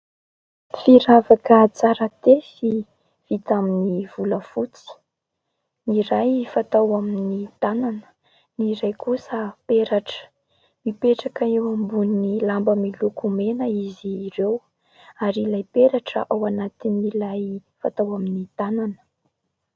Firavaka tsara tefy vita amin'ny volafotsy. Ny iray fatao amin'ny tanana, ny iray kosa peratra mipetraka eo ambonin'ny lamba miloko mena izy ireo. Ary ilay peratra ao anatin'ilay fatao amin'ny tanana.